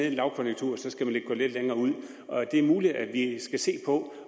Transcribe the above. en lavkonjunktur gå længere og det er muligt at vi skal se på